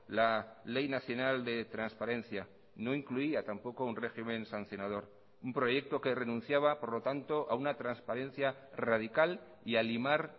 la ley nacional de transparencia no incluía tampoco un régimen sancionador un proyecto que renunciaba por lo tanto a una transparencia radical y a limar